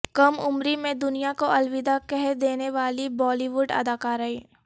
کم عمری میں د نیا کوالوداع کہہ د ینے والی بالی ووڈ اداکارائیں